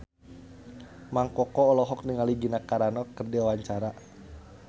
Mang Koko olohok ningali Gina Carano keur diwawancara